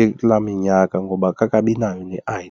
ekulaa minyaka ngoba akakabi nayo ne-I_D.